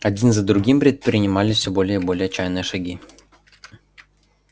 один за другим предпринимались всё более и более отчаянные шаги